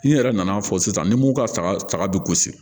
N'i yɛrɛ nana fɔ sisan ni mugu ka saga saga bi